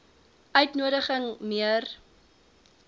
uitnodiging m eer